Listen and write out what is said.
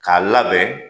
K'a labɛn